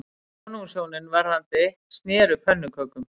Konungshjónin verðandi sneru pönnukökum